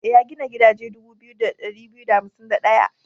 E, ya gina gidaje dubu 2251.